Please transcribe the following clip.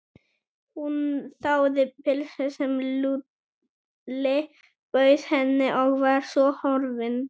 Hún þáði pylsu sem Lúlli bauð henni og var svo horfin.